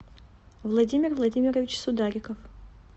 владимир владимирович судариков